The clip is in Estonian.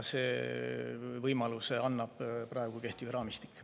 Selle võimaluse annab kehtiv raamistik.